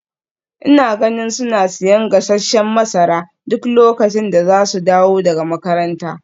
Ina ganin suna siyan gasasshen masara duk lokacin da za su dawo daga makaranta.